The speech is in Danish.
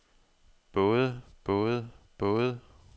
både både både